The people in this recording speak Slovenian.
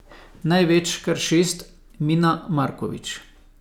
Največ, kar šest, Mina Markovič.